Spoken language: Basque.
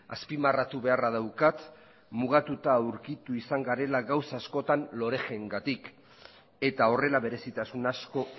azpimarratu beharra daukat mugatuta aurkitu izan garela gauza askotan loreg engatik eta horrela berezitasun asko